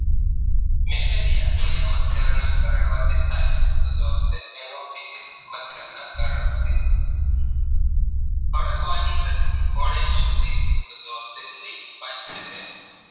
કરડવાથી થાય છે તો જવાબ છે ENO fiji મચ્છરના કરડવાથી ખડકવાની રશી કોને શોધી હતી તો જવાબ છે Louis Parser